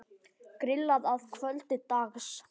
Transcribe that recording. Grillað að kvöldi dags.